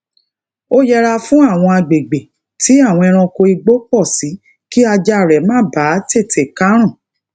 ó yẹra fún àwọn àgbègbè tí àwọn ẹranko igbó pò sí ki ajá rè ma baa tete karun